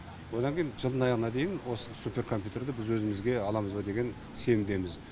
одан кейін жылдың аяғына дейін осы суперкомпьютерді біз өзімізге аламыз ба деген сенімдеміз